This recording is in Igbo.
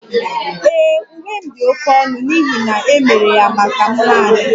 Ee, Uwe m dị oké ọnụ n'ihi na e mere ya maka m naani